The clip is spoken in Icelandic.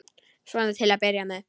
Svona til að byrja með.